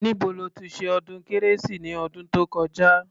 Níbo lo ti ṣe ọdún kérésì ni ọdún tó kọjá?